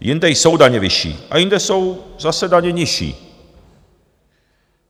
Jinde jsou daně vyšší a jinde jsou zase daně nižší.